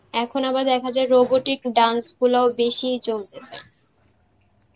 এখন আবার দেখা যায় robotic dance গুলাউ বেশি চলতেসে.